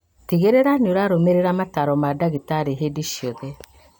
Tigĩrĩra nĩũrarũmĩrĩra mataro ma ndagĩtari hĩndĩ ciothe